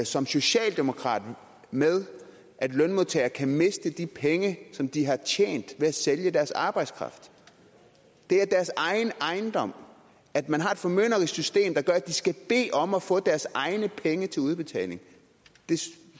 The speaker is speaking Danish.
som socialdemokrat med at lønmodtagere kan miste de penge som de har tjent ved at sælge deres arbejdskraft det er deres egen ejendom at man har et formynderisk system der gør at de skal bede om at få deres egne penge til udbetaling